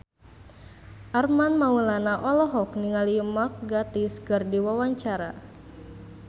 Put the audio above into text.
Armand Maulana olohok ningali Mark Gatiss keur diwawancara